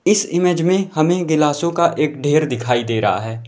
इस इमेज में हमें गिलासों का एक ढ़ेर दिखाई दे रहा है।